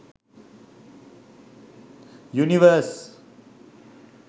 univers